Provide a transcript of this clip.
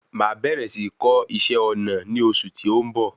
Máa bẹ̀rẹ̀ sí kọ́ iṣẹ́ ọna ní osù tí ó ń bọ̀.